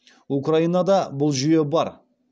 украинада бұл жүйе бар